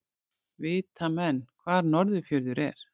Vita menn hvar Norðurfjörður er?